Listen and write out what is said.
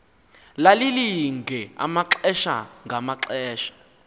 lalilinge amaxesha ngamaxesha